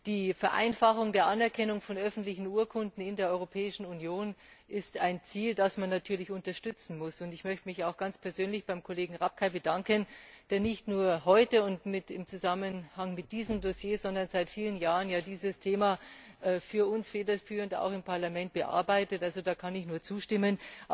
Die Vereinfachung der Anerkennung von öffentlichen Urkunden in der Europäischen Union ist ein Ziel, das man natürlich unterstützen muss. Ich möchte mich auch ganz persönlich bei Kollege Rapkay bedanken, der nicht nur heute und im Zusammenhang mit diesem Dossier, sondern seit vielen Jahren dieses Thema für uns federführend im Parlament bearbeitet. Da kann ich nur zustimmen.